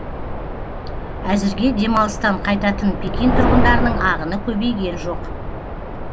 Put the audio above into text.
әзірге демалыстан қайтатын пекин тұрғындарының ағыны көбейген жоқ